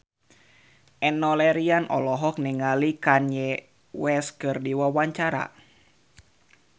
Enno Lerian olohok ningali Kanye West keur diwawancara